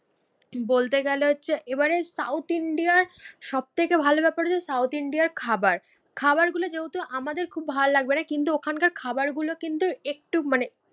বলতে গেলে হচ্ছে এবারের সাউথ ইন্ডিয়ার সব থেকে ভালো ব্যাপার হচ্ছে সাউথ ইন্ডিয়ার খাবার। খাবারগুলো যেহেতু আমাদের খুব ভালো লাগবে না কিন্তু ওখানকার খাবার গুলো কিন্তু একটু মানে